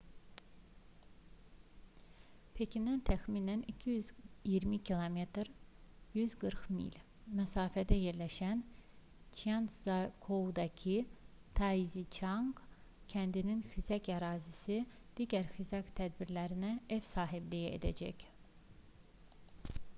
pekindən təxminən 220 km 140 mil məsafədə yerləşən çjantzyakoudaki taiziçanq kəndinin xizək ərazisi digər xizək tədbirlərinə ev sahibliyi edəcək